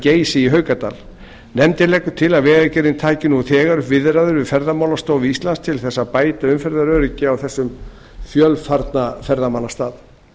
geysi í haukadal nefndin leggur til að vegagerðin taki nú þegar upp viðræður við ferðamálastofu íslands til þess að bæta umferðaröryggi á þessum fjölfarna ferðamannastað